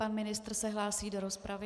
Pan ministr se hlásí do rozpravy.